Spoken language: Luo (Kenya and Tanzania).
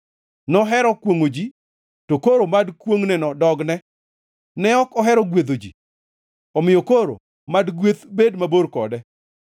Nohero kwongʼo ji to koro mad kwongʼneno dogne; ne ok ohero gwedho ji omiyo koro mad gweth bed mabor kode.